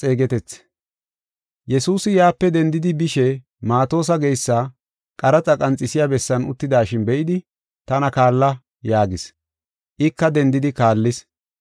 Yesuusi yaape dendidi bishe Maatosa geysa qaraxa qanxisiya bessan uttidashin be7idi, “Tana kaalla” yaagis. Ika dendidi kaallis.